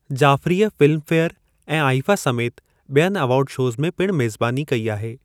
जाफ़रीअ Filmfare ऐं IIFA समेति ॿियनि एवार्ड शोज़ में पिणु मेज़बानी कई आहे।